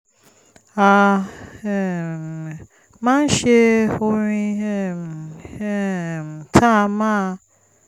a um máa ń ṣe orin um um tá a máa